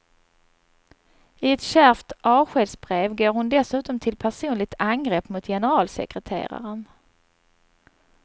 I ett kärvt avskedsbrev går hon dessutom till personligt angrepp mot generalsekreteraren.